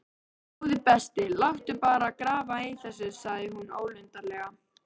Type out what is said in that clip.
Góði besti, láttu bara grafa í þessu sagði hún ólundarlega.